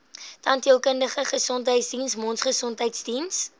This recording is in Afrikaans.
tandheelkundige gesondheidsdiens mondgesondheidsdiens